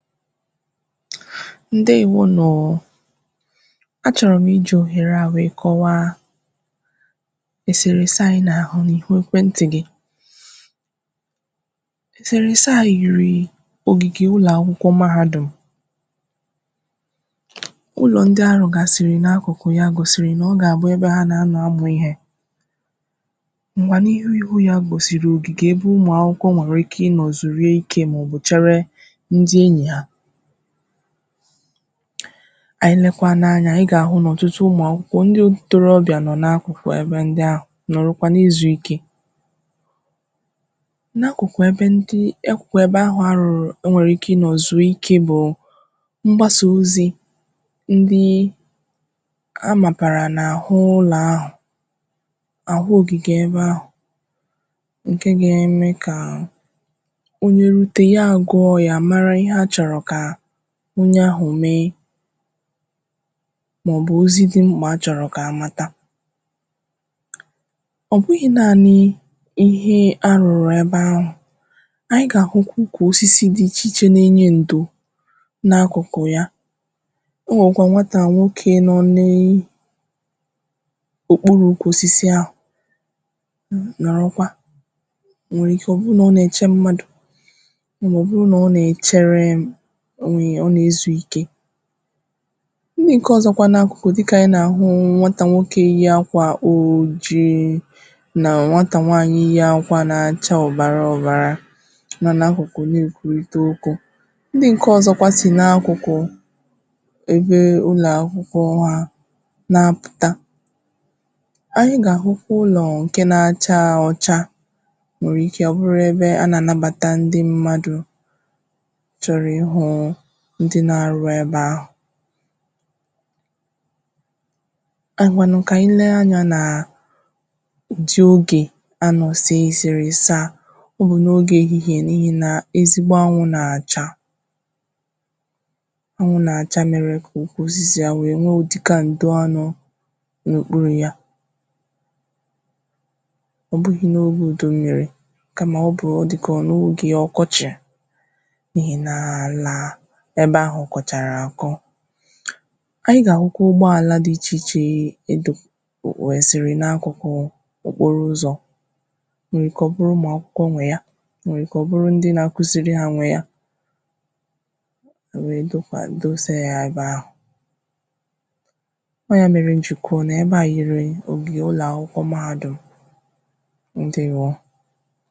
Ndewonu o o a chọrọ̀ m iji ohere à wee kọwaà eserese à anyị̀ na-ahụ̀ n’ihu ekwentị̀ gị̀ eserese à yirii ogige ụlọakwụkwọ̀ mahadum ụlọ ndị̀ arụgasịrị n’akụ kụ̀ yà gosiri na ọ ga-abụ̀ ebe ha na nọ̀ amụ̀ ihe manà n’ihu ihu ya gosiri ogige ebe ụmụ akwụkwọ̀ nwere e ki nọ zuruike maọ̀bụ̀ cherè ndị enyi ha anyị lekwanụ̀ anya ị ga-ahụ̀ na ọtụtụ ụmụ akwụkwọ̀ ndị torobịà nọ n’akụ kụ̀ ebe ndị̀ ahụ̀ nọrọkwà na-ezuike n’akụkụ̀ ebe ndị̀ ekwụ kwebe ahụ̀ arụrụ̀ o nwere ike nọ̀ zuoike bụụ mgbasà ozi ndịị amabarà n’ahụ ụlọ ahụ ahụ ogige ebe ahụ nke ga-eme kaa onye rute ya agụọ yà marà ihe achọrọ̀ ka onye ahụ mee maọ̀bụ̀ ozì dị m̄kpà a chọrọ̀ ka amatà ọ bụghị̀ naanịị ihe arụrụ̀ ebe ahụ anyị̀ ga-ahụkwà ukwu osisi dị iche iche na-enye ndō n’akụkụ̀ yà o nwekwà nwatà nwokè nọ nii okpuru ukwu osisi ahụ mu nọrọkwà nwere ike ọ bụrụ̀ na ọ na-eche mmadụ̀ maọ̀bụ̀ na ọ na-echeree onwe yà, ọ na-ezuike ndị nke ọzọ̀ nọkwà n’akụ kụ̀ dịkàanyị̀ na-ahụ̀ nwatà nwoke yi akwà ojii na nwatà nwaanyị̀ na-achà ọbara ọbarà nọ n’akụkụ̀ milki ito oko ndị nke ọzọkwà sì na-akụkụ̀ ebe ụlọ̀ akwụkwọ̀ ha na-apụtà anyị̀ ga-ahụ̀ ụlọọ nke na-achà ọchà nwere ike ọ bụrụ̀ ebe a na-anabatà ndị̀ mmadụ̀ chọrọ̀ ịhụụ ndị na-arụ na-ebe ahụ ahụnụ̀ ka anyị̀ lee anya naa dị oge a nọ̀ sē eserese à uhu n’oge ehihe n’ihi na ezigbo anwụ̀ na-achà anwụ̀ na-acha merè oke osisi à wee nwe udika nduanọ̀ n’okpuru yà ọ bụghị̀ n’oge udu mmiri kamà ọ bụ̀, ọ dịkà n’oge ọkọchị̀ n’ihi na-alaa n’ebe ahụ̀ kọcharà akọ̀ anyị̀ ga-ahụkwà ụgbọalà dị iche iche e edō ọọ sịrị n’akụkụụ̀ okporo uzọ̀ o nwere ike ọ bụrụ̀ ụmụ akwụkwọ̀ nwe yà o nwere ike ọ bụrụ̀ ndị̀ na-akuziri ha nwe yà e wee bịakwà dosa ya ebe ahụ ọ ya m ji ko n’ebe à yiri ogige ụlọakwụkwọ̀ mahadum. Ndewo!